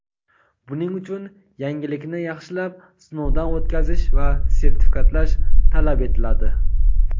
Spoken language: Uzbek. buning uchun yangilikni yaxshilab sinovdan o‘tkazish va sertifikatlash talab etiladi.